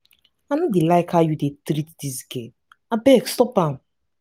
i no dey like how you dey treat dis girl abeg stop am